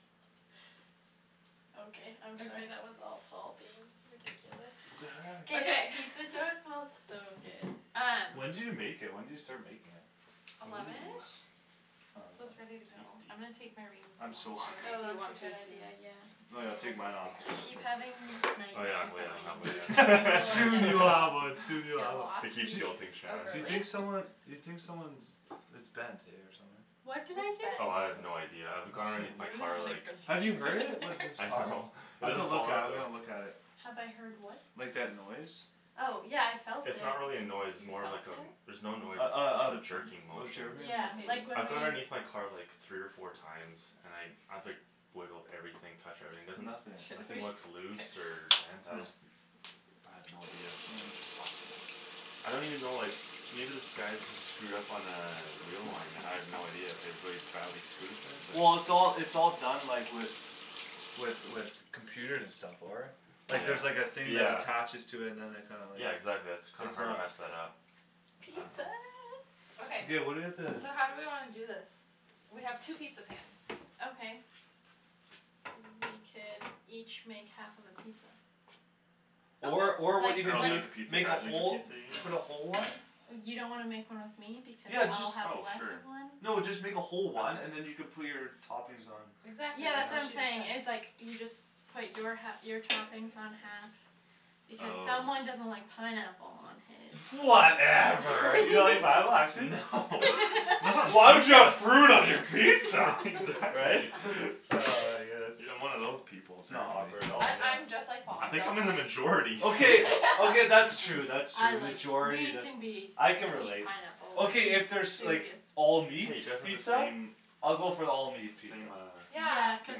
Okay I'm sorry that was all Paul being ridiculous What Oh the K heck? this guy- pizza dough smells so good Um When did you make it? When did you start making it? Ooh eleven-ish? So it's ready to go. I'm gonna take my rings Tasty I'm so off, I don't hungry know Oh if you that's want a to good too idea, yeah Oh yeah I'll take mine off, too, I here keep having these Oh yeah, nightmares oh yeah that my engagement I don't ring have one will like yet Soon get you'll have lost one, soon you'll Get have one lost? I keep Mhm guilting Oh Shan You think really? someone you think someone's it's bent eh, or something What What's did I bent? do? Oh I have no idea, I've That's gone underneath my car so like Have you heard it? With this I car? know It I've to doesn't look fall at it, out I've though gotta look at it Have I heard what? Like that noise? Oh, yeah I felt it It's not really a noise, it's You more felt like a it? there's no noise Uh it's just a uh jerking motion uh Yeah, K like when I've gone we- underneath my car like three or four times and I I've like wiggled everything, touched everything, there's Nothing Should we? nothing looks K loose or bent, I Hm just I have no idea Huh I don't even know like, maybe this guy's just screwed up on a wheel line and I have no idea, I have really badly screwed it but Well it's all it's all done like with with with computers and stuff, for it Like there's like a Yeah, thing that yeah attaches to it and then they kinda like Yeah exactly, that's kinda it's hard to not mess that up I dunno Pizza Okay Okay what do we have to so how do we wanna do this? We have two pizza pans Okay We could each make half of a pizza Or or what you Like could girls do make a pizza, make a guys make a whole pizza, you put a whole mean? one You don't wanna make one with me because Yeah, I'll just have Oh less sure of one? No, just make a whole one and then you can put your toppings on You Exactly, Yeah that's that's what what I'm she was know? saying saying, is like you just put your hal- your toppings on half, because someone Oh doesn't like pineapple on his Whatever You don't like pineapple, actually? Why would you have fruit on your pizza? Right? Exactly Ah, I guess I'm one of those people, sorry S'not awkward dude at all, I- I'm yeah just like Paul, I I think I'm don't in the like majority Okay, okay that's true, that's I true, like majority that, I can relate pineapple Okay if there's like, all meat Hey you guys have the pizza? same, same I'll uh go for the all meat pizza Yeah, cuz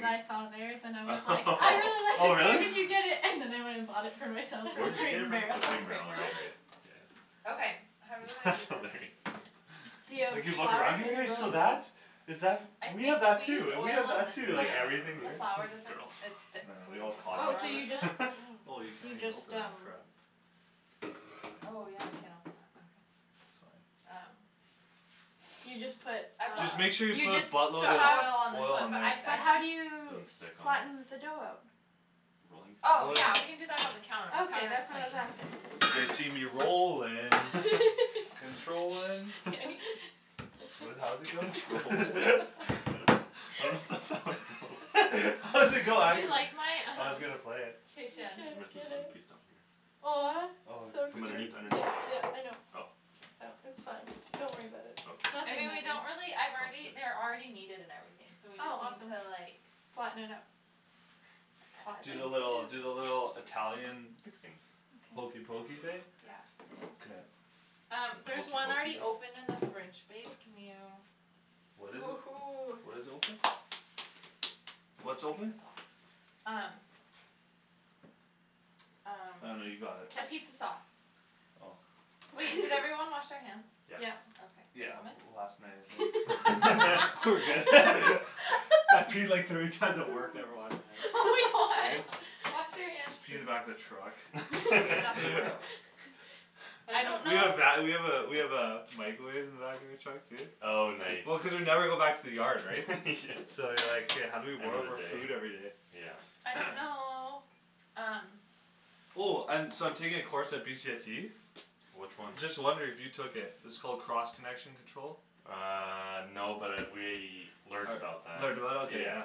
I saw theirs and I was like, I really like Oh this where really? did you get it? And then I went and bought it for myself Where from did you Crate get it and from? Crate Barrel Oh Crate and and Barrel right right Barrel Yeah Okay, how do we wanna That's do hilarious this? D'you have you look flour around in here, your? Is that I f- we think have that we use too, we oil have on that this too, one, like Yeah everything the here flour r- doesn't girls, it I sticks yeah know, we when there's all a Oh, flour on so you it each just other Oh you can't You even just, open that um crap Oh yeah, we can't open that. Okay It's fine Um So you just put uh, Just make sure you you put a just so So buttload of oil on this oil one all on but there I've I but how do you just Don't s- stick on it? flatten the dough out? Rolling? Oh Oh yeah yeah, we can do that on the counter, the Okay, counter's that's what clean I was asking They see me rollin', controllin' Shh What does it how Controllin'? does it go? I don't th- that's how it goes How does it go, Do you actually? like my, I was um, gonna play it He can't Rest of it get one it piece down here Aw. Oh, So From put cute, underneath, underneath? yeah yeah I know Oh Oh, k It's fine, don't worry about it I Nothing mean Okay, we matters don't really I've sounds already they're good already kneaded and everything, so we Oh just need awesome to like Flatten it out Toss Do the little it do the little Italian Fixing hokey Okay pokey thing? Yeah K Um, The there's hokey one already pokey? open in the fridge, babe, can you What is it? Woohoo. What is open? What's open? Um Um, Oh no you got it capizza sauce Oh Wait, did everyone wash their hands? Yes Yep Yeah, Okay. Thomas? last night I think We're good I peed like thirty times at work, never washed Oh my my hands, god, eh? wash your hands please Just pee in the back of the truck K, that's gross I don't We know have va- we have a we have a microwave in the back of our truck too Oh nice Well cuz we never go back to the yard, right? So like, Yeah how do we warm up our Everyday, food everyday? yeah I don't know, um Oh um so I'm taking a course at BCIT? Which one? Just wondering if you took it, it's called cross connection control? Uh no, but I we learned about that, Learned about it? Ok yeah yeah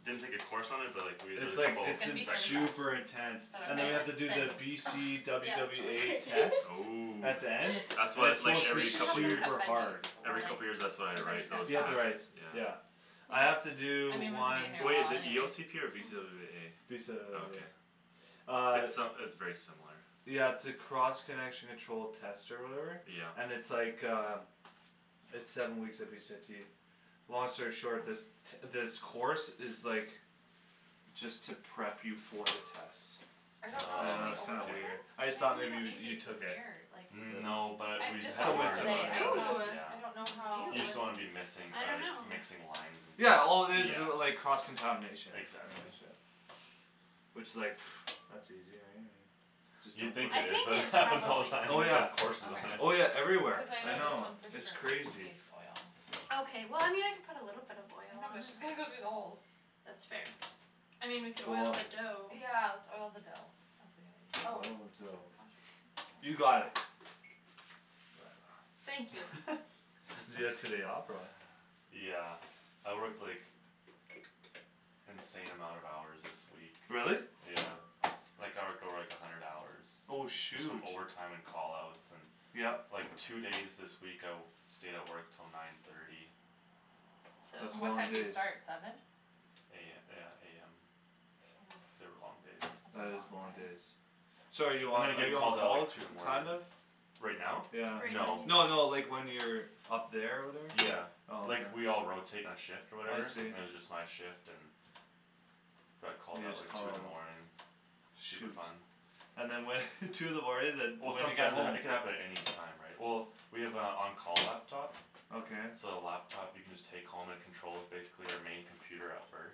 Didn't take a course on it but like we had It's like, It's it's gonna in be thin to crust super intense Ugh And then Is we have to that do the ok? B Thin C crust W yeah it's W totally A great test. Ooh At the end. That's And wha- it's it's like supposed Hey, to be we every should like couple years this, super hard or Every like, couple years that's what I cuz they're write, just those You have tests? gonna to write, Yeah yeah I Yeah have to I do mean one Wai- is it E anyways O C P or B C W W Mm. B A? Okay Uh It's uh it's very similar Yeah it's a cross connection control test or whatever? Yeah And it's like uh It's seven weeks at BCIT Long story short, this t- this course is like, just to prep you for the test I don't know, And should we Oh. that's kinda oil weird I this? okay just They thought do it maybe on you you YouTube so took it's it air, like No, but I've we just had bought to Somewhat this learn that, how to similar, today, I do yeah don't know, that, Ooh I don't know yeah how Ew, You just don't wanna be missing I uh dunno mixing lines and stuff, Yeah, all it is is like, cross yeah contamination Exactly Which is like, that's easy right, I mean Just You'd don't put think I it is, think but it it's happens all the probably time Oh which is we yeah, have courses on it oh Okay, yeah everywhere, cuz I I know this know, one for it's sure crazy needs oil Okay well I mean I can put a little bit of oil No on but it just gonna go through the holes That's fair I mean we could oil Cool the dough Yeah, let's oil the dough. That's a good idea. Oh, Oil the dough how should You got we it Whatever. Thank you Did you get today off, or what? Yeah, I worked like, insane amount of hours this week Really? Yeah, like I would go like a hundred hours Oh Just from shoot overtime and call outs, and Yep like two days this week I w- stayed at work till nine thirty That's And what long time So do you days start, seven? A- yeah, AM. Mm, They were long days that's a That is long long day days So are you I'm on gonna are get you on called out call, like t- two in the morning kind of? Right now? Yeah Right No now No no, he's like when you're up there or whatever? Yeah, Oh okay like we all rotate our shift or I whatever, see and it was just my shift and Got called You out just like call two in a the lot morning, super Shoot fun And then what two in the morning then Well when do you get sometimes it home? it could happen at any time, right? Well, we have a on call laptop Okay So the laptop you can just take home and it controls basically our main computer at work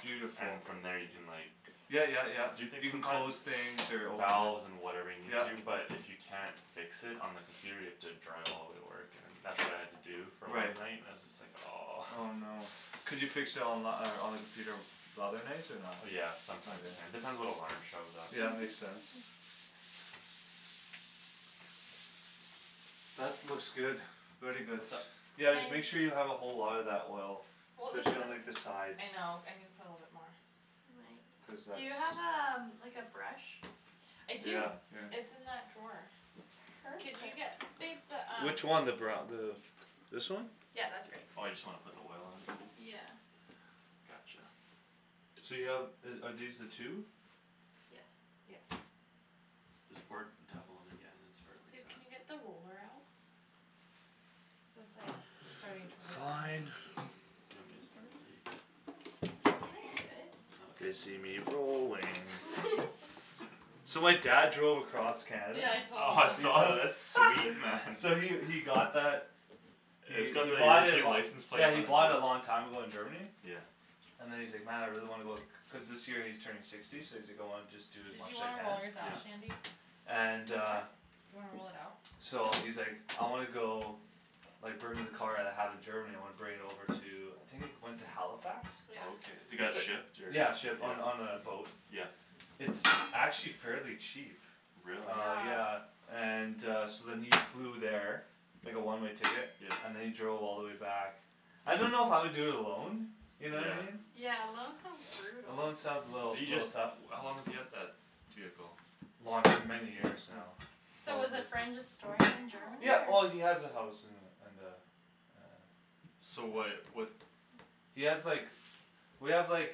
Beautiful And from there you can like, Yeah yeah yeah, do things you can from close things or open Valves and whatever you need Yeah to, but if you can't fix it on the computer you have to drive all way to work and that's what I had to do for one Right night, it was just like aw Oh no Could you fix it onli- on the computer the other nights, or not? Yeah, sometimes you can, depends what alarm shows up Yeah, makes sense That's looks good, very good What's up? Yeah just make Thanks sure you have a whole lotta that oil, Well this specially on like the this, sides I know, I needa put a little bit more Cuz Do that's you have a um- like a brush? I do, Yeah, here it's in that drawer Could Perfect you get babe the um Which one, the bru- the, this one? Yeah, that's great Oh you just wanna put the oil on even? Yeah Gotcha So you have uh are these the two? Yes Yes This part, tap on that yeah, then spread it like Babe, that can you get the roller out? So it's like, starting to rip a Fine bit You want me to spread it, or I'm you good? good Okay They see me rolling So my dad drove across Canada Yeah, I told them. Oh I saw that, that's sweet man Yeah we we got that, we we bought it lo- license plate yeah we bought it a long time ago in Germany Yeah And then he's like, man I really wanna go, cuz this year he's turning sixty so he's like going just do as Did much you as he wanna can roll yours out, Yeah Shandy? And Do I uh what? Do you wanna roll it out? So Nope he's like, I wanna go, like bring my car that I have in Germany, I wanna bring it over to, I think it went to Halifax? Okay, Yeah it got shipped or, yeah Yeah, shipped on on a boat Yeah It's actually fairly cheap Really? Uh Yeah yeah, and uh so then he flew there Like a one-way ticket, Yeah and then he drove all the way back I don't know if I would do it alone, you know? Yeah Yeah, alone sounds brutal Alone sounds a little, Do you little just tough how long does he have that vehicle? Long- many years now, So Mm. was a probably friend just storing it in Germany Yeah, well he or? has a house in the in the uh So why'd what He has like we have like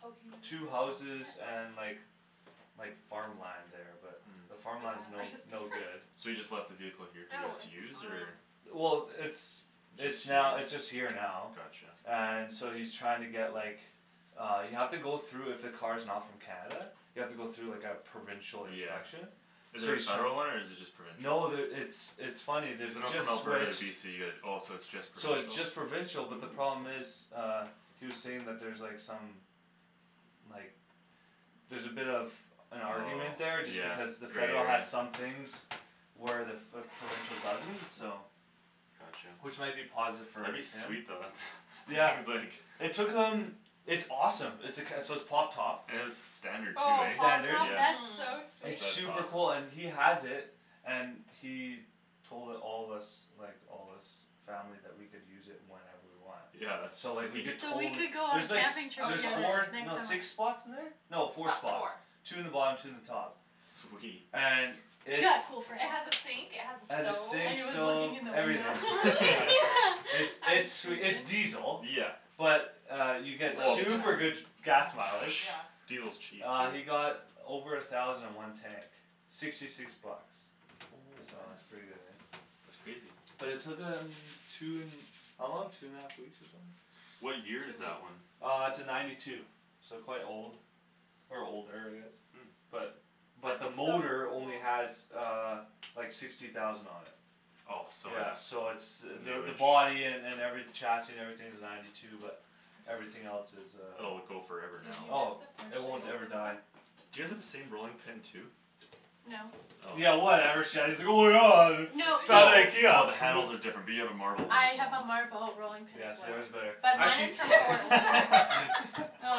Oh can you move two that to houses the back? Yeah and like like farmland there, but the The farmland's Mhm. no batter's just no good So he perf- just left the vehicle here for you Oh, guys to it's use, or fine Well, it's it's now it's just Just here? here now Gotcha And so he's trying to get like, uh you have to go though if a car's not from Canada, you have to go through like a provincial Yeah inspection Is So there a he's tr- federal one or is it just No, provincial? there it's it's funny, there's So a not just from Alberta to switched BC, it oh it's just So it's just provincial? provincial, but the Ooh problem is uh, he was saying that's there like some like, there's a bit of an argument Oh there just yeah, because the federal there has is some things where the- f- the provincial doesn't, so Gotcha Which might be positive for That'd be like sweet though, that him th- Yeah, he's like it took him, it's awesome, it's a c- so it's pop top It's standard too, Oh, right? pop Standard. top? Yeah That's so Mm sweet That's It's awesome super cool and he has it And he told it- all of us, like all us family that we could use it whenever we want Yeah that's So like we sweet could So we could totally go on there's like camping s- trip Oh there's together four, totally next no summer six spots in there? No Fo- four spots, four two in the bottom two in the top Sweet And it's Yeah, cool friends It has a sink, it has It a has a stove And sink, he was looking stove, in the Oh everything, window really? yeah It's Yeah it's it's diesel, Yeah but uh you get Well super good gas mileage Yeah Diesel's cheap, Uh dude you got over a thousand in one tank, sixty six bucks Oh, So that's man. pretty good eh That's crazy Well it took him, two n- how long, two and a half weeks or something? Two What year is weeks that one? Uh it's a ninety two, so quite old Or older, I guess Hmm But but the That's so motor old only has uh like sixty thousand on it Oh so Yeah so it's it's the the new-ish body an- and every chassis and everything's ninety two but everything else is uh Oh, it go Did you forever Oh, now get the it won't ever open? die Do you all have the same rolling pin too? No Oh Yeah From No, No. I oh IKEA the handles are different, we have a marble one as have a well marble rolling pin Yeah, as well yours is better. But I mine can't is from Portland All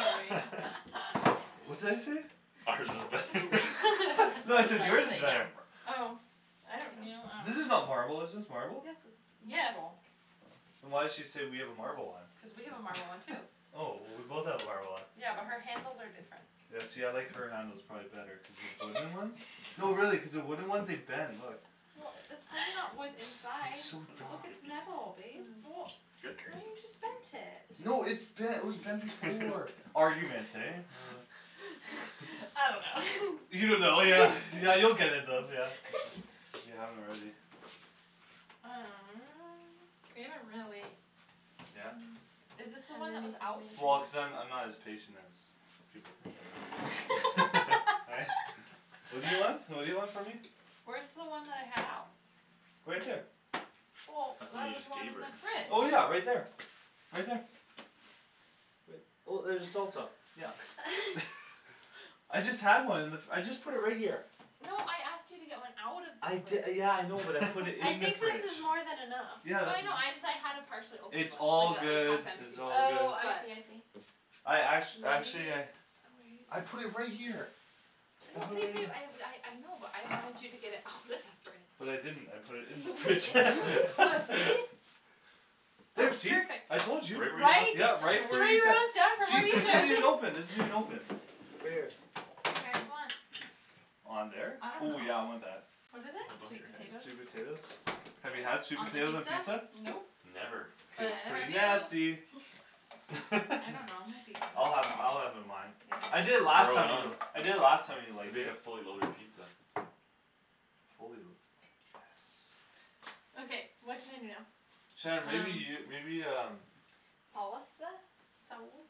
right What's that you say? Ours is better No I said yours is better Yapper Oh I don't know Yours is not marble, is this Yes it's marble? Yes marble Oh. Then why'd she say we have a marble Cuz one? we have a marble one too Oh, well we both have a marble one Yeah, but her handles are different Yeah see I like her handles probably better cuz the wooden ones no really cuz the wooden ones, they bend, look Well, that's probably not wood inside, It's so look it's metal babe Oh, Mm why you Great just bent it No it's bent it was bent before It's Arguments, bent eh? Uh I don't know You don't know, yeah yeah you'll get it bent yeah, if you if you haven't already Uh We haven't really Yeah? Is this the How one that was are out? we Well going cuz I'm I'm not to as patient as people think I am Yeah, right? What do you want? What do you want from me? Where's the one that I had out? Right there Well, That's the one there you was just one gave in her the fridge Well yeah right there, right there Right well there's the salsa, yeah I just had one in the f- I just put it right here No, I asked you to get one out of I the di- fridge yeah I know, but I put it I in the think this fridge is more than enough Yeah, No I that's it- know, ju- I just- I had a partially open it's one, all like a like good, half it's empty one, all good Oh I but see I see I act- actually Maybe I I put oh wait it right here I No, put it babe right babe, here I had a I know, but I wanted you to get it out of the fridge But I didn't, I put it in the You put it fridge in the fridge. Well see? Oh, There see, perfect I told you! Right where you Right? left it Yeah, Three right, where you ta- rows down from where see this isn't even you open, this isn't even open Right here Do you guys want On there? I don't Ooh yeah know I want that What is it? Sweet potatoes Sweet potatoes? Have you had sweet On the potatoes on pizza? pizza? Nope Never K. But It's neither pretty have you nasty I don't know, might be I'll good have I'll have it on mine I Yeah did I last Load it time know you do it, on, I did it last time and I liked make a it fully loaded pizza Fully lu- yes Okay, what can I do now Shan, maybe you, maybe um Um. Saus- uh? Sauce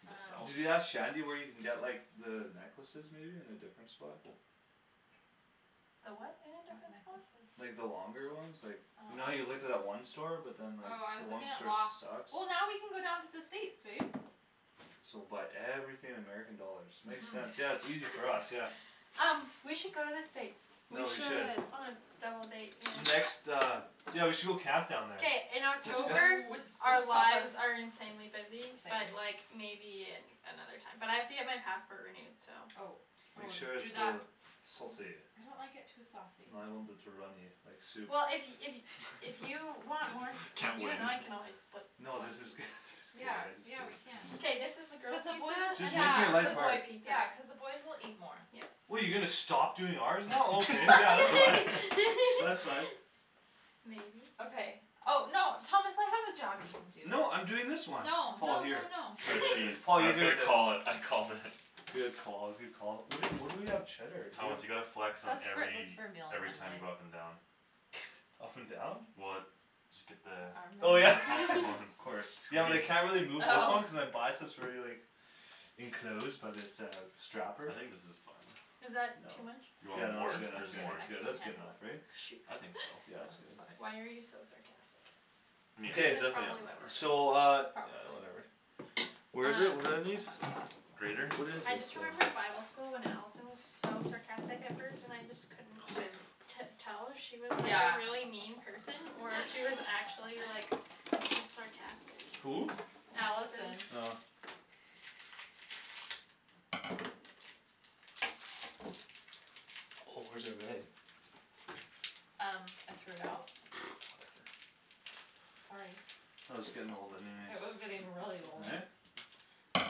The sauce Did you ask Shandy where you can get like the necklaces maybe in a different spot? Oh. The what in a What different spot? Like the necklaces? longer ones like, you know how you looked at uh-huh that one store but then like, Oh, I the was one looking at store Loft sucks? Well now we can go down to the States, babe So buy everything in American dollars, makes sense, yeah Mhm it's easier for us, yeah Um, we should go to the States We No, we should should On a double date, yeah Next uh, yeah we should go camp down there K, in October Ooh, with our our lies lives are insanely busy but like, maybe another time But I have to get my passport renewed so Oh, oh Make sure do it's that uh, saucy I don't like it too saucy too runny, like soup Well if if if you want more s- Can't you and win I can always split No this is good, this is good Yea, yeah we can K, I this is the Yeah, just girls cuz pizza, and Just make then this is the boy it pizza the boys will eat more Yeah What you gonna stop doing ours now? Okay yeah, you can. That's right Maybe Okay oh, no Thomas I have a job you can do No I'm doing this one No, Paul no here no no Shred cheese, Tom I was gonna call it, I called it Good call, good call. Where do- where do we have cheddar? Do we Thomas you gotta flex on That's for- that's every, for meal on every time you Monday go up and down and down? Well, just get the Oh yeah Armband? optimum Of course. Yeah well squeeze I can't really move this Oh one cuz I buy it so it's already like enclosed by this uh strapper I think this is fine Is No, that No. too much? you Way too much, Yeah I want no no- that's more? good that's good more that's I good can't that's good handle enough, it right? Shoot. I think so. Yeah it's good Sounds Why fine are you so sarcastic? Meat, Good, That's definitely probably why we're add so uh, more friends Probably yeah, whatever. Um Grater? What is I this just thing? remembered bible school when Allison was so sarcastic at first and I just couldn't- Didn't t- tell if she was like a Yeah really mean person or if she was actually like, just sarcastic Who? Allison Allison Oh Oh where's Um, I threw it out? Whatever Sorry It was getting old anyways It was getting really old Eh? It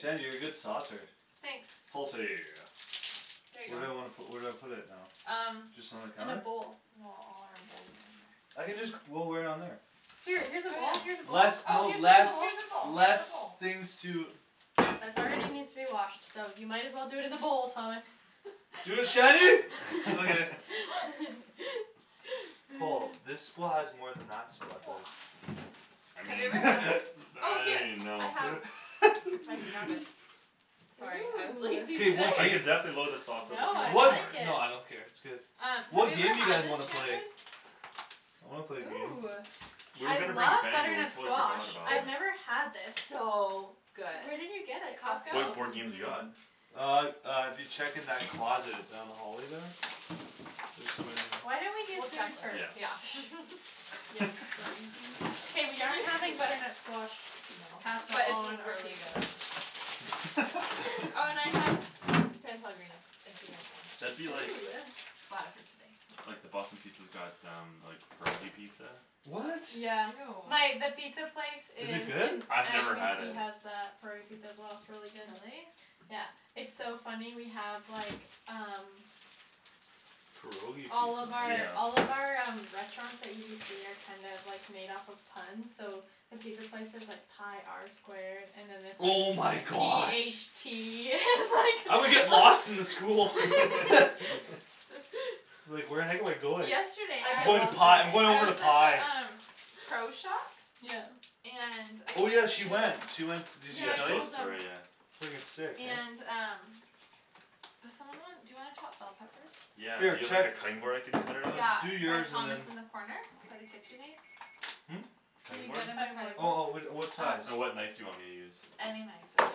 was like you're a good saucer Thanks Saucy There you Where do I go wanna pu- where do I put it now? Um Just on the In a counter? bowl Well all our bowls are in there I can just c- roll right on there Here, here's a bowl, Oh here's a yeah bowl oh Less no here's a less, bowl, here's a less things to bowl. That's already needs to be washed, so you might as well do it in the bowl, Thomas Dude, Shandy? Okay Wa I Have you ever mean, had this? Oh I don't here, even I know have, if I can grab it Sorry, I was lazy K, today what Ooh I game? could definitely load the sauce up No if you I want What more like it Uh, have you What ever game do you had guys this, wanna play? Shandryn? I wanna play a game Ooh, Where we I gonna bring love we butternut totally squash, forgot about I've it never had this It's so good Where did you get it, Costco? What Costco, board games you got? mhm Uh, uh dude check in that closet, down the hallway there? There's some in Why don't we there do We'll check food first? Yeah later, yeah K we aren't having butternut squash No, pasta but it's on our really pizza good Oh and I have San Pellegrino, if you guys want That'd be like, it Ooh Bought it for you today, so like the Boston Pizza's got um, pierogi pizza What? My- the Ew pizza place Is it in good? I've never had UBC it has a curry pizza as well, it's really good Really? Yeah, it's so funny we have like, um Pierogi All pizza of our all of Yeah our um restaurants at UBC are kind of like made off of puns, so the pizza place is like pi R squared, and then it's like Oh my p h gosh tea I would and get lost in the school like Like where the heck am I going? Yesterday I'm I going to pi, I'm going I over to was at pi the um Pro shop? Yeah And I Oh yeah, had she went, she to went s- did she Yeah Yeah, I she tell told you? us told the them story, yeah Frigging sick, And man um Does someone want dou you wanna chop bell peppers? Yeah, do Here, you have like check a cutting board I could cut it on? Yeah, Like, do by yours and Thomas then in the corner? By the KitchenAid? Hm? Can Cutting you board? get him my cutting Oh oh board? whi- uh, what size? Um And what knife do you want me to use? Any knife, doesn't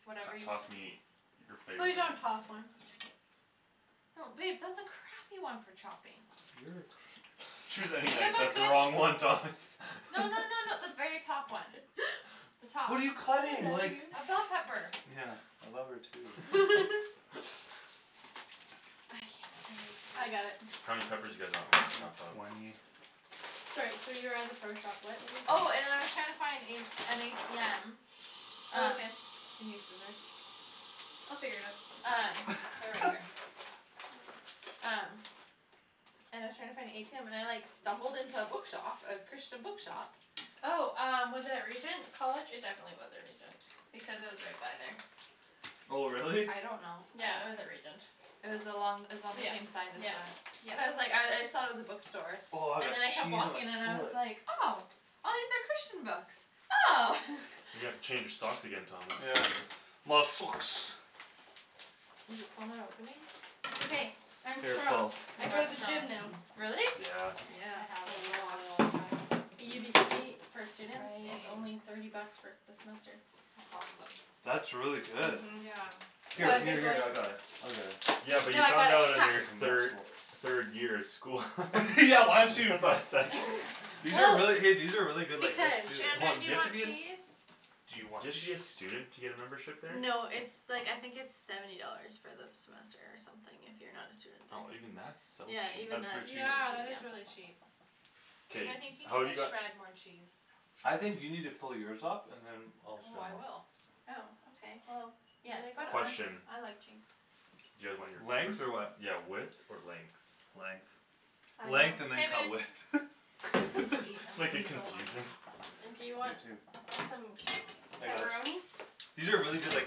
matter T- Whatever you toss me your Please, favorite one don't toss one No babe, that's a crappy one for chopping You're a cra- Choose any Give knife, him a that's the good, wrong no one Thomas no no no the very top one The top What are you cutting? Like A bell pepper Yeah, I love her too I can't, I I got need it How many peppers do you guys want me to Like chop up? twenty Sorry so you were at the pro shop, what were you saying Oh and I was trying to find in an ATM Oh Um, okay do you need scissors They'll figure it out Um, they're right here Um And I was trying to find a ATM and I like stumbled into a bookshop, a Christian bookshop Oh um, was it at Regent College? It definitely wasn't Regent, because I was right by there Oh really? I don't know Yeah, I was at Regent It was along, it was on the same Yep, side as yep, the, but I was like, I I yep thought it was a bookstore, Aw, and that then I kept cheese walking and I was on like, oh, these are Christian books! Oh! You gotta change your socks again, Thomas Yeah My socks Is it still not opening? It's okay, I'm Here strong, Paul I You go are to the strong. gym now Really? Yes Yeah, I a haven't gone in a lot really long time UBC, for students, it's Awesome only Right thirty bucks for s- the semester That's awesome That's really good Mhm Yeah Here, What? here here I got it, I'll get it Yeah but No you I got found it, out in hah your thir- third year of school Yeah why don't That's you why was like These are really, hey Oh these are really good like veg Because too, Hold Shandryn, on, do do you you have to want be a eh s- cheese? Do Do you want you have to be a cheese? student to get a membership there? No it's like I think it's seventy dollars for the semester or something if you're not a student there Oh even that's so Yeah, cheap even That's that pretty cheap Yeah, that is really cheap Babe K, I think you need how'd you to got shred more cheese I think you need to fill yours up, and then Oh I will Oh ok well, Yeah, yeah, put it Question I on like cheese Do you guys want your Length? peppers, Or what yeah width or length? Length Length and then K, cut babe width I need to eat, Just I'm make like it so confusing hungry And do you You want too some I got ch- pepperoni? These are really good like